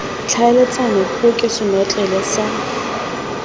tlhaeletsano puo ke senotlele sa